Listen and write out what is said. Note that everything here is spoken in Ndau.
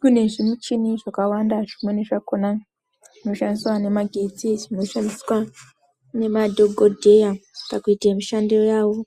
Kune zvimuchini zvakawanda zvimweni zvakhona zvinoshandiswa nemagetsi zvinoshandiswa nemadhokodheya pakuite mishando yavo